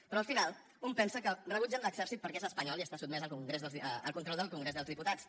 però al final un pensa que rebutgen l’exèrcit perquè és espanyol i està sotmès al control del congrés dels diputats